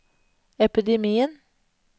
epidemien